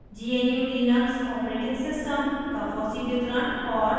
gnu/लिनक्स operating system का fossee वितरण और